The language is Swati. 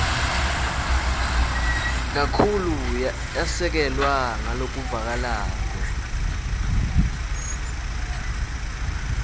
kakhulu yasekelwa ngalokuvakalako